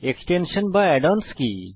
extension বা add ons কি